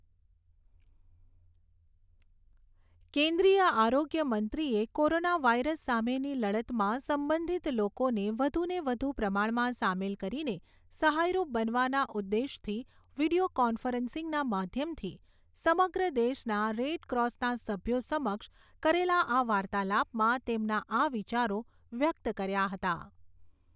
કેન્દ્રીય આરોગ્ય મંત્રીએ કોરોના વાયરસ સામેની લડતમાં સંબંધિત લોકોને વધુને વધુ પ્રમાણમાં સામેલ કરીને સહાયરૂપ બનવાના ઉદ્દેશથી વિડીયો કોન્ફરન્સીંગના માધ્યમથી સમગ્ર દેશના રેડક્રોસના સભ્યો સમક્ષ કરેલા આ વાર્તાલાપમાં તેમના આ વિચારો વ્યક્ત કર્યા હતા.